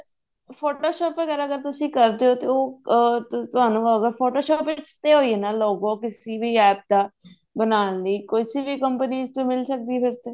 photoshop ਵਗੇਰਾ ਅਗਰ ਤੁਸੀਂ ਕਰਦੇ ਹੋ ਤੇ ਉਹ ਅਮ ਤੁਹਾਨੂੰ photoshopਤੇ ਹੈ ਨਾ logo ਕਿਸੀ ਵੀ app ਦਾ ਬਣਾਉਣ ਲਈ ਕਿਸੀ ਵੀ company ਚ ਮਿਲ ਸਕਦੀ ਹੈ ਫ਼ੇਰ ਤੇ